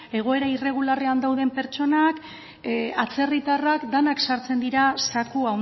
egoera irregularrean dauden pertsonak atzerritarrak denak sartzen dira zaku